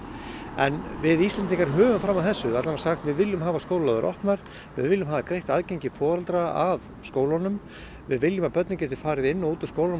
en við Íslendingar höfum fram að þessu sagt við viljum hafa skólalóðir opnar við viljum hafa greitt aðgengi foreldra að skólanum við viljum að börnin geti farið inn og út af skólanum